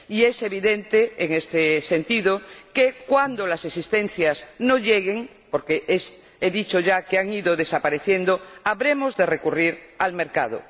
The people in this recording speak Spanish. Y es evidente, en este sentido, que, cuando las existencias no lleguen porque he dicho ya que han ido desapareciendo habremos de recurrir al mercado.